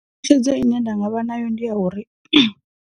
Tshedzo ine nda vha nayo ndi ya uri .